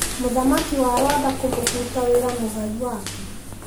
Mũthamaki wa Rwanda kũmũbuta wĩra mũgai wake.